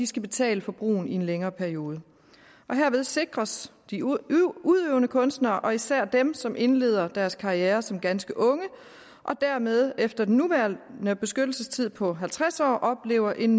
skal betale for brugen i en længere periode herved sikres de udøvende kunstnere og især dem som indleder deres karriere som ganske unge og dermed efter den nuværende beskyttelsestid på halvtreds år oplever en